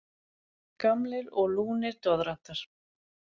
Gamlir og lúnir doðrantar.